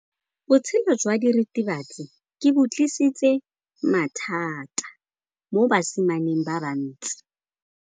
Botshelo jwa diritibatsi ke bo tlisitse mathata mo basimaneng ba bantsi.